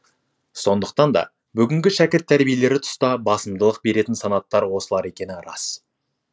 сондықтан да бүгінгі шәкірт тәрбиелері тұста басымдылық беретін санаттар осылар екені рас